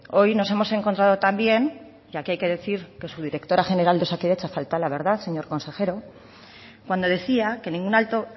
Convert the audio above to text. hoy nos hemos encontrado también que aquí hay que decir que su directora general de osakidetza faltó a la verdad señor consejero cuando decía que ningún alto